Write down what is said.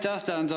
Jah, aitäh!